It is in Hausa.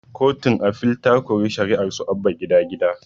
Kotun afil ta kori shari'arsu abba gida gida